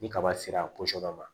Ni kaba sera a dɔ ma